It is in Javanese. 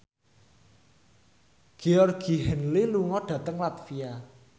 Georgie Henley lunga dhateng latvia